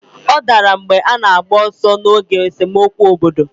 Ọ dara mgbe ọ na-agba ọsọ n'oge esemokwu obodo.